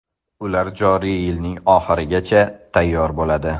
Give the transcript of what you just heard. Ular joriy yilning oxirigacha tayyor bo‘ladi.